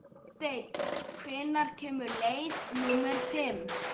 Steinn, hvenær kemur leið númer fimm?